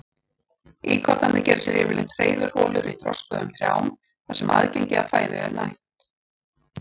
Íkornarnir gera sér yfirleitt hreiðurholur í þroskuðum trjám þar sem aðgengi að fæðu er nægt.